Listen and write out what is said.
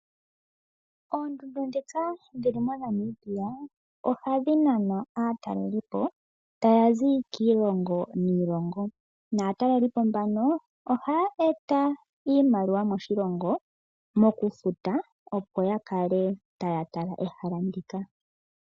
Oondundu ndhika dhili moNamibia oha dhi nana aatalelipo taya zi kiilongo niilongo, naatalelipo mbano oha ya eta iimaliwa moshilongo mokufuta opo ya kale taya tala ehala ndika.